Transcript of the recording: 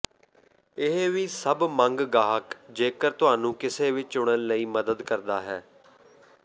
ਇਹ ਵੀ ਸਭ ਮੰਗ ਗਾਹਕ ਜੇਕਰ ਤੁਹਾਨੂੰ ਕਿਸੇ ਵੀ ਚੁਣਨ ਲਈ ਮਦਦ ਕਰਦਾ ਹੈ